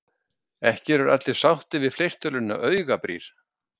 Ekki eru allir sáttir við fleirtöluna augabrýr.